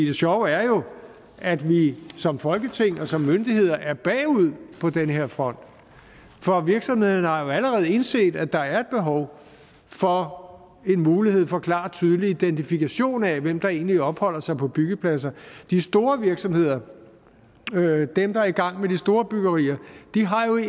det sjove er jo at vi som folketing og som myndigheder er bagud på den her front for virksomhederne har jo allerede indset at der er et behov for en mulighed for klar og tydelig identifikation af hvem der egentlig opholder sig på byggepladser de store virksomheder dem der er i gang med de store byggerier har jo i